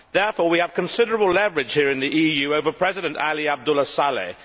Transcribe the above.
Therefore, we have considerable leverage here in the EU over President Ali Abdullah Saleh.